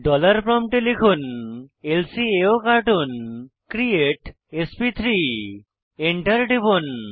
dollar প্রম্পটে লিখুন ল্কাওকার্টুন ক্রিয়েট এসপি3 Enter টিপুন